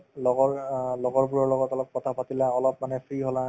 লগৰ অ লগৰবোৰৰ লগত অলপ কথাপাতিলা অলপ মানে free হলা